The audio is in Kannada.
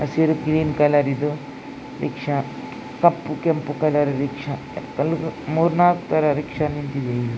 ಹಸಿರು ಗ್ರೀನ್ ಕಲರ್ ಇದು ರಿಕ್ಷಾ ಕಪ್ಪು ಕೆಂಪು ಕಲರ್ ರಿಕ್ಷಾ ಮೂರ್ ನಾಲಕ್ ಥರ ರಿಕ್ಷಾ ನಿಂತಿದೆ ಇಲ್ಲಿ .